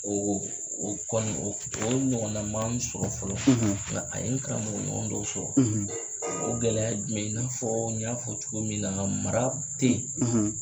O o o kɔni o ɲɔgɔnna man n sɔrɔ fɔlɔ nga a ye n karamɔgɔ ɲɔgɔn dɔ sɔrɔ o gɛlɛya jumɛn ye i n'a fɔ n y'a fɔ cogo min na mara tɛ yi.